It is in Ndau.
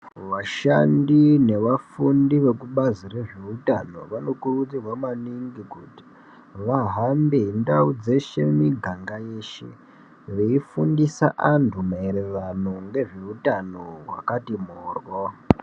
Vashandi nevafundi vekubazi rezveutano vanokurudzirwa maningi kuti vahambe ndau dzeshe nemigaga yeshe veifundisa anhu maererano nezveutano hwakati mhoryo.